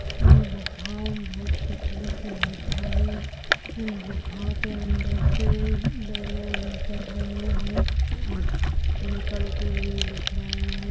इन गुफाओं मे बहुत पतली सी गुफाएं हैं इन गुफाओं के अंदर से दो लोग निकल रहे हैं और निकलते हुए दिख रहे है।